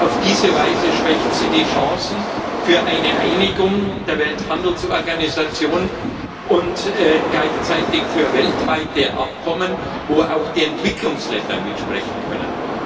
Auf diese Weise schwächt sie die Chancen für eine Einigung der Welthandelsorganisation und gleichzeitig für weltweite Übereinkommen, wo auch die Entwicklungsländer mitsprechen können.